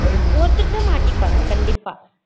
ஒருத்தர் கிட்ட மாட்டிப்பாங்க கண்டிப்பா